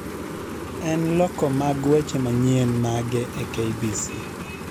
en loko mag weche manyien mage e k.b.c